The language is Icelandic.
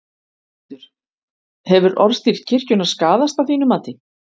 Höskuldur: Hefur orðstír kirkjunnar skaðast að þínu mati?